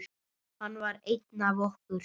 Hann var einn af okkur.